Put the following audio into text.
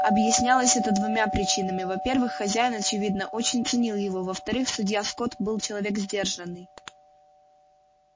объяснялось это двумя причинами во-первых хозяин очевидно очень ценил его во-вторых судья скотт был человек сдержанный